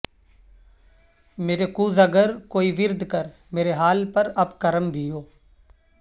میرے کوزہ گر کوئی ورد کر میرے حال پر اب کرم بھی ہو